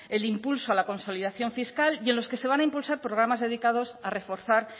el impulso a la consolidación fiscal y en los que se van a impulsar programas dedicados a reforzar